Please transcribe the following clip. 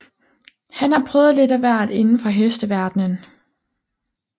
Han har prøvet lidt af hvert inden for hesteverdenen